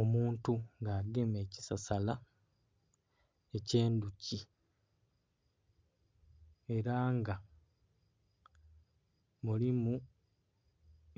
Omuntu nga agemye ekisasala eky'endhuki, era nga mulimu